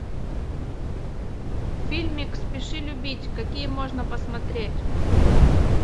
фильмик спеши любить какие можно посмотреть